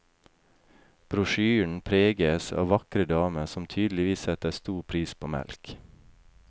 Brosjyren preges av vakre damer som tydeligvis setter stor pris på melk.